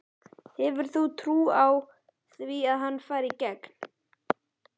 Hefur þú trú á því að hann fari í gegn?